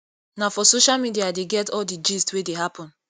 na for social media i dey get all di gist wey dey happen